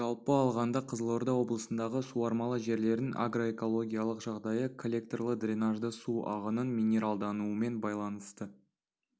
жалпы алғанда қызылорда облысындағы суармалы жерлердің агроэкологиялық жағдайы коллекторлы-дренажды су ағынының минералдануымен байланысты